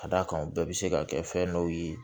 Ka d'a kan u bɛɛ bɛ se ka kɛ fɛn dɔw ye